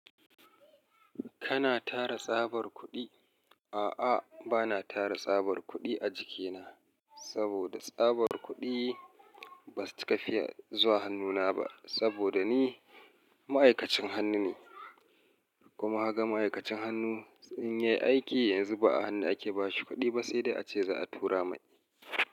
Kana tara tsabar kuɗi? A'a, bana tara tsabar kuɗi a jikina. Saboda tsabar kuɗi ba su cika fiya zuwa hannu na ba saboda ni ma'aikacin hannu ne. Kuma ka ga ma'aikacin hannu in yai aiki yanzu ba a hannu ake ba shi kuɗi ba sai dai ace za a tura mai.